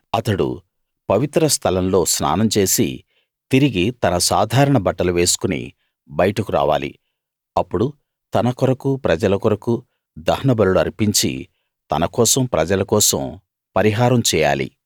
అతడు పవిత్ర స్థలం లో స్నానం చేసి తిరిగి తన సాధారణ బట్టలు వేసుకుని బయటకు రావాలి అప్పుడు తన కొరకూ ప్రజల కొరకూ దహనబలులు అర్పించి తన కోసం ప్రజల కోసం పరిహారం చేయాలి